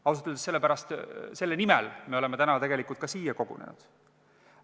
Ausalt öeldes selle nimel me oleme täna tegelikult ka siia kogunenud.